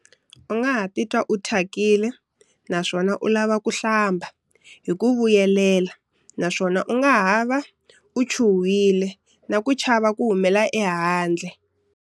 U nga ha titwa u thyakile naswona u lava ku hlamba hi ku vuyelela naswona u nga ha va u chuhile na ku chava ku humela ehandle.